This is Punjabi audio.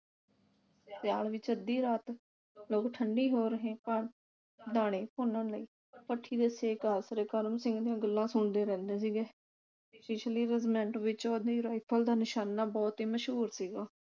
ਸਿਆਲ ਵਿਚ ਅੱਧੀ ਰਾਤ ਲੋਕ ਠੰਡੀ ਹੋ ਰਹੀ ਦਾਣੇ ਭੁੰਨਣ ਵਾਲੀ ਭੱਠੀ ਦੇ ਸੇਕ ਆਸਰੇ ਕਰਮ ਸਿੰਘ ਦੀਆਂ ਗੱਲਾਂ ਸੁਣਦੇ ਰਹਿੰਦੇ ਸੀਗੇ ਪਿਛਲੀ ਰਜਮੈਂਟ ਵਿਚ ਉਸ ਦੀ ਰਾਈਫਲ ਦਾ ਨਸ਼ਾਨਾ ਬੜਾ ਮਸ਼ਹੂਰ ਸੀਗਾ